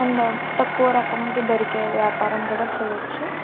And తక్కువ రకంకి దొరికే వ్యాపారం కూడా చెయొచ్చు.